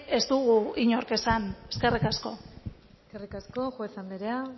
ez dugu inork esan eskerrik asko eskerrik asko juez anderea